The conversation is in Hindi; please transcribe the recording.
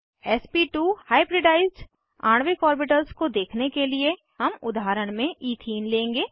एसपी2 हाइब्रिडाइज्ड आणविक ऑर्बिटल्स को देखने के लिए हम उदाहरण में इथीन लेंगे